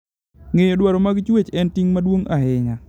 Ng'eyo dwaro mag chwech en ting' maduong' ahinya.